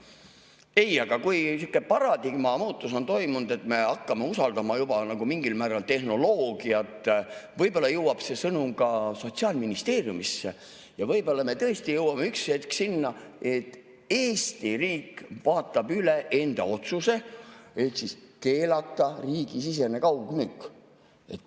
Ei, aga kui niisugune paradigma muutus on toimunud, et me hakkame usaldama juba mingil määral tehnoloogiat, siis võib-olla jõuab see sõnum ka Sotsiaalministeeriumisse ja võib-olla me tõesti jõuame üks hetk sinna, et Eesti riik vaatab üle enda otsuse keelata riigisisene kaugmüük.